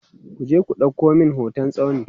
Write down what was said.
kuje ku ɗauko min hoton tsauni!